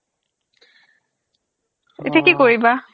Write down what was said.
এতিয়া কি কৰিবা